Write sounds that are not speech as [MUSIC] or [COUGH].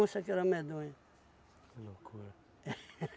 que era medonha. Que loucura. [LAUGHS]